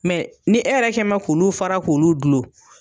ni e yɛrɛ kɛ n bɛ k'ulu fara k'ulu dulon.